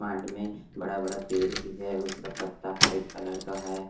Mart में बड़ा-बड़ा पेर भी है उसका पत्ता वाइट कलर का है।